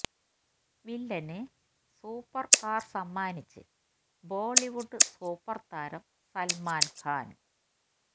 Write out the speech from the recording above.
വില്ലന് super car സമ്മാനിച്ച് Bollywood super താരം സല്മാന് ഖാന്